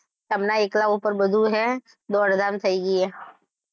અલા એકલાં ઉપર બધુ હે દોડ ધામ થયી ગયી હે.